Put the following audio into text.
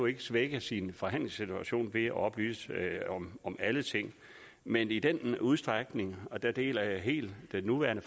ikke svække sin forhandlingssituation ved at oplyse om alle ting men i den udstrækning og der deler jeg helt den nuværende